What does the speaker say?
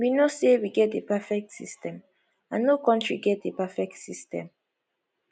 we no say we get a perfect system and no country get a perfect system